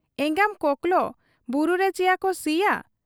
ᱮᱸᱜᱟᱢ ᱠᱚᱠᱞᱚ ᱵᱩᱨᱩ ᱨᱮᱪᱤᱭᱟᱠᱚ ᱥᱤᱭᱟ ?'